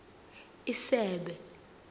isebe